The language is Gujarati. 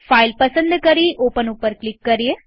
ફાઈલ પસંદ કરી ઓપન ઉપર ક્લિક કરીએ